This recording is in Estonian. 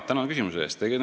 Tänan küsimuse eest!